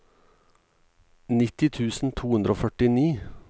nitti tusen to hundre og førtini